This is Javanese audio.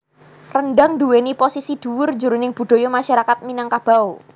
Rendhang nduwèni posisi dhuwur jroning budaya masyarakat Minangkabau